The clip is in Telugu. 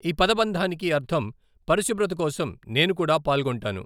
ఈ పదబంధానికి అర్థం 'పరిశుభ్రత కోసం, నేను కూడా పాల్గొంటాను.'